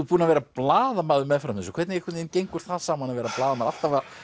búinn að vera blaðamaður með fram þessu hvernig gengur það saman að vera blaðamaður alltaf að